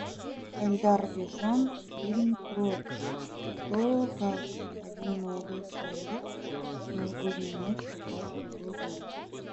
эльдар рязанов фильм про то как один молодой человек в новогоднюю ночь попал в другой город